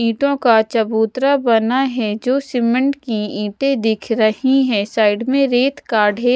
ईंटो का चबूतरा बना है जो सीमेंट की ईंटे दिख रही है साइड में रेत का ढेर--